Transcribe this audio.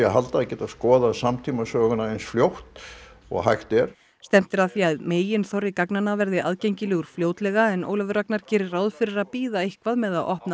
geta skoðað samtímasöguna eins fljótt og hægt er stefnt er að því að meginþorri gagnanna verði aðgengilegur fljótlega en Ólafur Ragnar gerir ráð fyrir því að bíða eitthvað með að opna